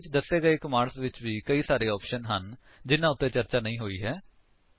ਅਸਲ ਵਿੱਚ ਦੱਸੇ ਗਏ ਕਮਾਂਡਸ ਵਿੱਚ ਵੀ ਕਈ ਸਾਰੇ ਆਪਸ਼ਨਸ ਹਨ ਜਿਹਨਾ ਉੱਤੇ ਚਰਚਾ ਨਹੀਂ ਹੋਈ ਹੈ